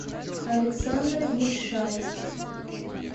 александр ельшаев